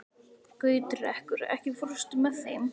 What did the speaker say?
Gautrekur, ekki fórstu með þeim?